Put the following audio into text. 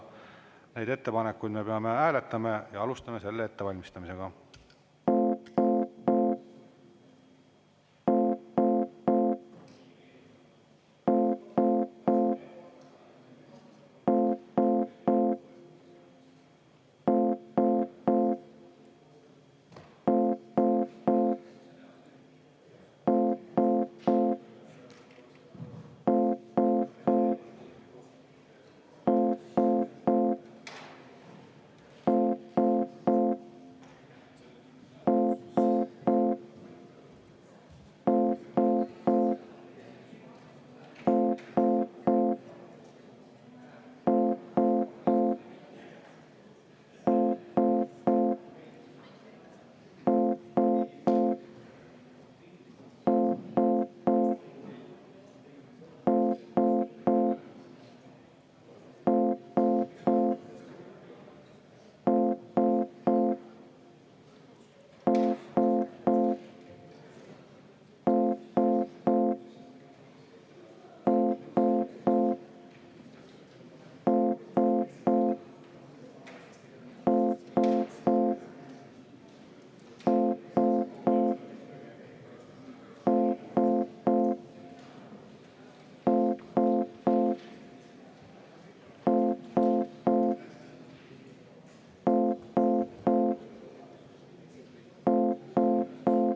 Neid ettepanekuid me peame hääletama ja alustame selle ettevalmistamisega.